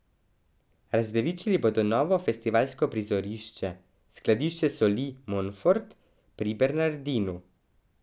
Razdevičili bodo novo festivalsko prizorišče, skladišče soli Monfort pri Bernardinu.